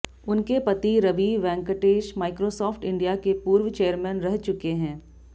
उनके पति Ravi Venkatesan Microsoft India के पूर्व चेयरमैन रह चुके हैं